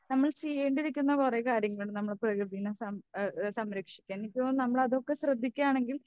നമ്മൾ ചെയ്യേണ്ടിയിരിക്കുന്ന കുറേ കാര്യങ്ങൾ നമ്മൾ പ്രകൃതിയെ സം ഏഹ് ഏഹ് സംരക്ഷിക്കാൻ എനിക്ക് തോനുന്നു നമ്മൾ അതൊക്കെ ശ്രദ്ധിക്കുകയാണെങ്കിൽ